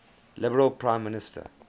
liberal prime minister